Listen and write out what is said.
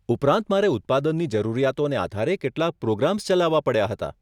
ઉપરાંત, મારે ઉત્પાદનની જરૂરિયાતોને આધારે કેટલાક પ્રોગ્રામ્સ ચલાવવા પડ્યા હતા.